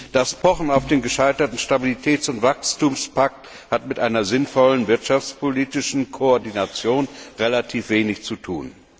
Das Pochen auf den gescheiterten Stabilitäts und Wachstumspakt hat mit einer sinnvollen wirtschaftspolitischen Koordination relativ wenig zu tun.